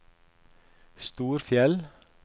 Storfjell